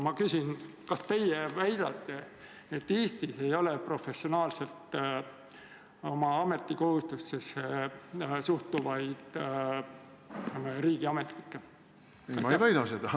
Ma küsingi: kas teie väidate, et Eestis ei ole professionaalselt oma ametikohustustesse suhtuvaid riigiametnikke?